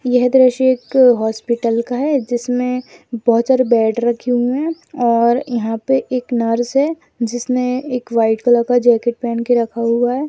यह दृश्ये एक हॉस्पिटल का है जिसमे बहुत सारे बेड रखे हुए हैं और यहां पे एक नर्स है जिसने एक व्हाइट कलर का जैकेट पहन के रखा हुआ है।